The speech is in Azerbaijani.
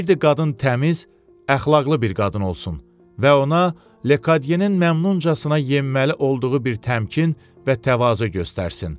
İstəyirdi qadın təmiz, əxlaqlı bir qadın olsun və ona Lekadyenin məmnuncasına yenməli olduğu bir təmkin və təvazö göstərsin.